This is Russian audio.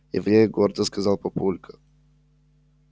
еврей гордо сказал папулька